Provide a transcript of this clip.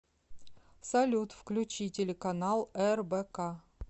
салют включи телеканал рбк